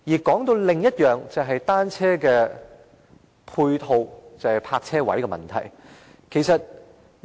談到另一點，就是單車泊車位等配套問題。